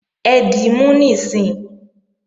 Ẹ dímú níìsín!